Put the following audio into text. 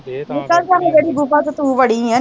ਨਿਕਲਜਾ ਜਿਹੜੀ ਗੁਫਾ ਚ ਤੂੰ ਵੜੀ ਐ